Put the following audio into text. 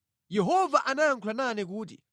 Yehova anayankhula nane kuti,